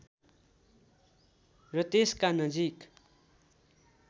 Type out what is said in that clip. र त्यसका नजिक